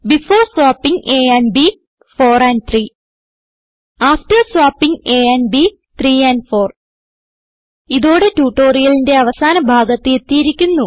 before swapping a and b 4 and 3 after swapping a and b 3 and 4 ഇതോടെ ട്യൂട്ടോറിയലിന്റെ അവസാന ഭാഗത്ത് എത്തിയിരിക്കുന്നു